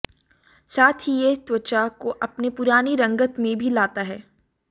साथ ही यह त्वचा को अपने पुरानी रंगत में भी लाता है